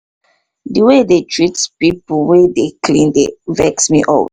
the way they dey treat people wey dey clean dey vex me alwa